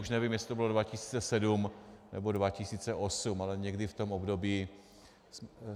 Už nevím, jestli to bylo 2007, nebo 2008, ale někdy v tom období.